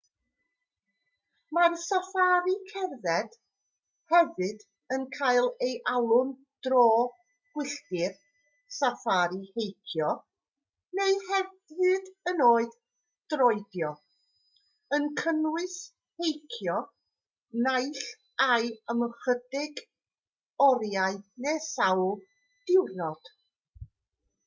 mae'r saffari cerdded hefyd yn cael ei alw'n dro gwylltir saffari heicio neu hyd yn oed droedio yn cynnwys heicio naill ai am ychydig oriau neu sawl diwrnod